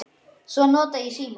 Svo nota ég símann.